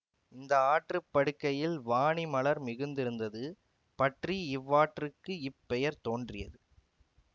இந்த ஆற்றுப்படுகையில் வானி மலர் மிகுந்திருந்தது பற்றி இவ்வாற்றுக்கு இப்பெயர் தோன்றியது